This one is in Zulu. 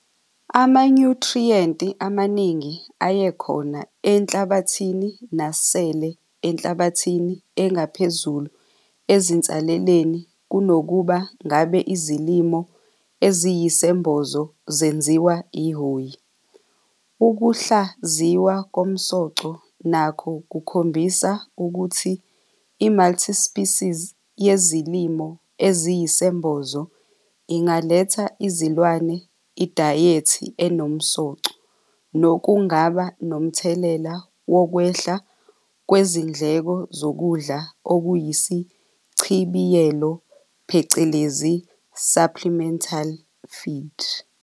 Amanyuthriyenti amaningi ayekhona enhlabathini nasele enhlabathini engaphezulu ezinsaleleni kunokuba ngabe izilimo eziyisembozo zenziwa ihhoyi. Ukuhlaziywa komsoco nakho kukhombisa ukuthi i-multispecies yezilimo eziyisembozo ingalethela izilwane idayethi enomsoco, nokungaba nomthelela wokwehla kwezindleko zokudla okuyisichibiyelo phecelezi supplemental feed.